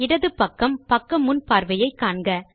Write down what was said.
இடது பக்கம் பக்க முன் பார்வையை காண்க